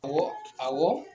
Ɔwɔ awɔ.